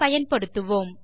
பயன்படுத்துவோம்